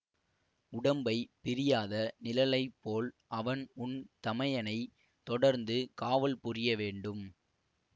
உடம்பைப் பிரியாத நிழலைப் போல் அவன் உன் தமையனைத் தொடர்ந்து காவல் புரிய வேண்டும்